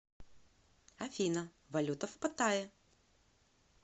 афина валюта в паттайе